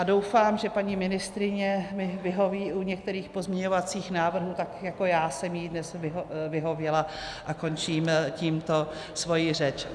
A doufám, že paní ministryně mi vyhoví u některých pozměňovacích návrhů tak, jako já jsem jí dnes vyhověla, a končím tímto svoji řeč.